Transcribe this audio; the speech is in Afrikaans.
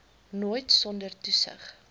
nooit sonder toesig